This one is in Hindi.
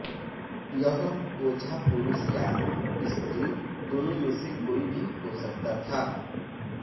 यह ओझा पुरुष या स्त्री दोनों में से कोई भी हो सकता था